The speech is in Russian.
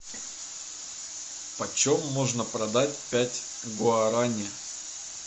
почем можно продать пять гуарани